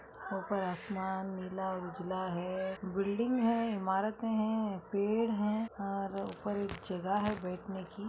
ऊपर आसमान नीला उजला है बिल्डिंग है इमारतें हैं पेड़ हैं और ऊपर एक जगह है बेठने की।